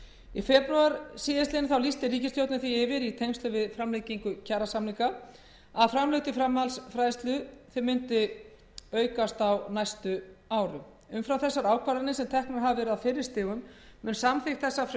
í febrúar síðastliðinn lýsti ríkisstjórnin því yfir í tengslum við framlengingu kjarasamninga að framlög til framhaldsfræðslu myndu stigaukast á næstu tveimur árum umfram þessar ákvarðanir sem teknar hafa verið á fyrri stigum mun samþykkt þessa